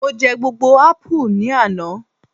mo je gbogbo apu ni Ana